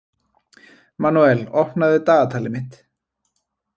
Manuel, opnaðu dagatalið mitt.